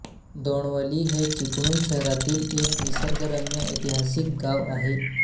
दोणवली हे चिपळूण शहरातील एक निसर्गरम्य ऐतिहासिक गाव आहे